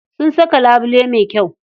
Sun saka labule mai kyau.